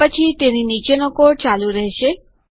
આ પછી તેની નીચેનો કોડ ચાલુ રહેશે